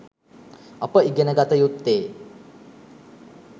අප ඉගෙන ගත යුත්තේ